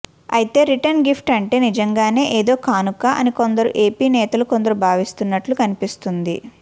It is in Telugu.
అయితే రిటర్న్ గిఫ్ట్ అంటే నిజంగానే ఏదో కానుక అని కొందరు ఏపీ నేతలు కొందరు భావిస్తున్నట్లు కనిపిస్తోంది